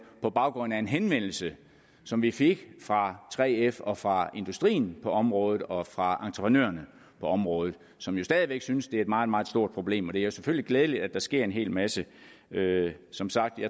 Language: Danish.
på baggrund af en henvendelse som vi fik fra 3f og fra industrien på området og fra entreprenørerne på området som jo stadig væk synes at det er et meget meget stort problem det er jo selvfølgelig glædeligt at der sker en hel masse som sagt